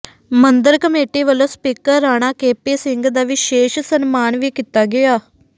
ਮੰਦਰ ਕਮੇਟੀ ਵੱਲੋਂ speaker Rana KP Singh ਦਾ ਵਿਸ਼ੇਸ਼ ਸਨਮਾਨ ਵੀ ਕੀਤਾ ਗਿਆ